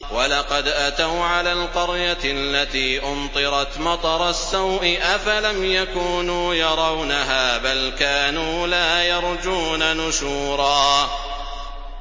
وَلَقَدْ أَتَوْا عَلَى الْقَرْيَةِ الَّتِي أُمْطِرَتْ مَطَرَ السَّوْءِ ۚ أَفَلَمْ يَكُونُوا يَرَوْنَهَا ۚ بَلْ كَانُوا لَا يَرْجُونَ نُشُورًا